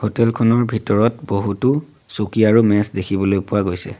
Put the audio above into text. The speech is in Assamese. হোটেল খনৰ ভিতৰত বহুতো চকী আৰু মেজ দেখিবলৈ পোৱা গৈছে।